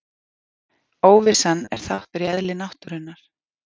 Óvissan er þáttur í eðli náttúrunnar.